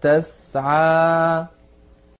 تَسْعَىٰ